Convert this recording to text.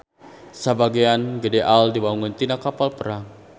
Sabagean gede AL diwangun tina kapal perang.